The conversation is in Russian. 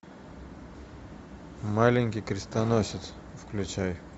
маленький крестоносец включай